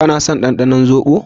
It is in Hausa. kana son ɗanɗanon zobo?